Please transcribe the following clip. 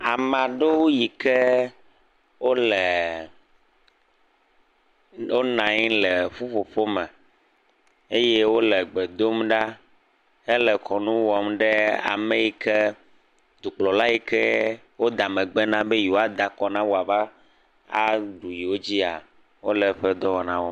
Ame aɖewo yi ke wo le wp nɔ anyi le ƒuƒoƒo me eye wo le gbe dom ɖa hele kɔnu wɔm ɖe ame yi ke dukplɔla yi ke woda megbe na be yewoa da kɔ na woava aɖu yewo dzia wo le eƒe dɔwɔna wɔm.